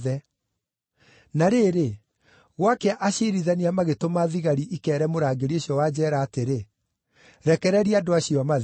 Na rĩrĩ, gwakĩa aciirithania magĩtũma thigari ikeere mũrangĩri ũcio wa njeera atĩrĩ, “Rekereria andũ acio mathiĩ.”